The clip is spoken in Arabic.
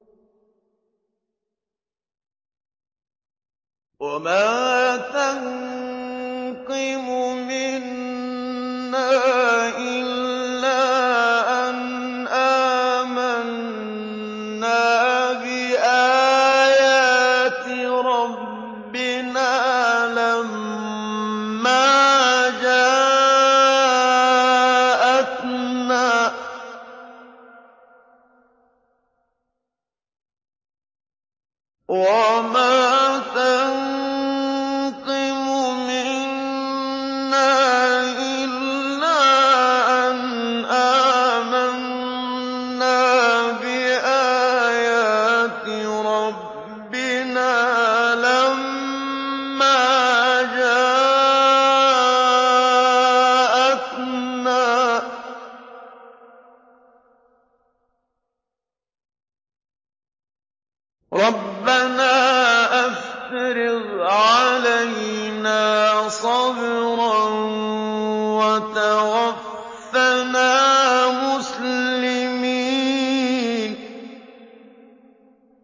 وَمَا تَنقِمُ مِنَّا إِلَّا أَنْ آمَنَّا بِآيَاتِ رَبِّنَا لَمَّا جَاءَتْنَا ۚ رَبَّنَا أَفْرِغْ عَلَيْنَا صَبْرًا وَتَوَفَّنَا مُسْلِمِينَ